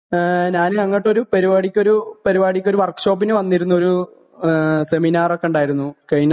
ഏ ഞാൻ അങ്ങട്ട് ഒരു പരിപാടിക്കൊരു പരിപാടിക്കൊരു വർക്ക് ഷോപ്പിന് വന്നിരുന്നുഒരു സെമിനാർ ഒക്കെ ഉണ്ടായിരുന്നു . കഴിഞ്ഞ ദിവസം